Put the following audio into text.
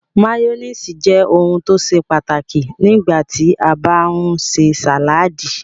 Máyónísì jẹ́ ohun tó ṣe pàtàkì nígbà tí a bá ń ṣe sàládì.